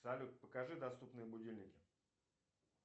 салют покажи доступные будильники